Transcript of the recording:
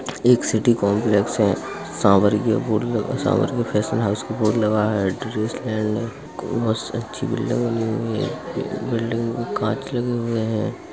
एक city complex है। Sanwariya board लगा सांवरिया फैशन हाउस का बोर्ड लगा है। ड्रेस लैंड है बहोत अच्छी बिल्डिंग बनी हुई है। बिल्डिंग में कांच लगे हुए है।